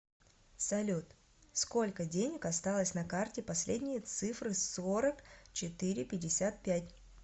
салют сколько денег осталось на карте последние цифры сорок четыре пятьдесят пять